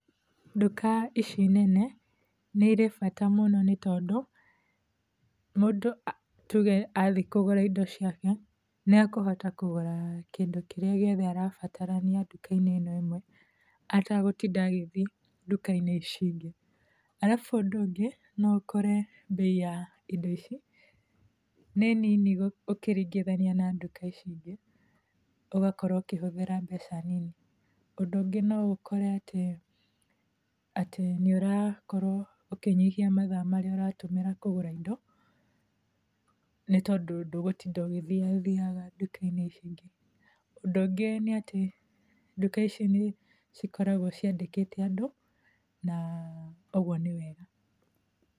Dŭka ici nene nĩirĩ bata mŭno nĩtondŭ mŭndŭ tŭge athi kŭgŭra indo ciake nĩekŭhota kŭgŭra kĩndŭ kĩrĩa gĩothe arabatarania ndŭkainĩ ĩno ĩmwe atagŭtida agĩthiĩ ndŭkainĩ ici ingĩ alabŭ ŭndŭ ŭngĩ no ŭkore bei ya indo ici nĩ nini gŭkĩringithania na ndŭka ici ingĩ ŭgakorwo ŭkĩhŭthĩra mbeca nini ŭndŭ ŭngĩ no ŭkorw atĩ nĩŭrakorwo ŭkĩnyihia mathaa marĩa ŭratŭmĩra kŭgŭra indo nĩtondŭ dŭgŭtida ŭgĩthiathiaga ndŭkainĩ ici ingĩ. ŭndŭ ŭngĩ nĩ atĩ ndŭka ici nĩcikoragwo ciandĩmĩte andŭ na ŭgŭo nĩ wega.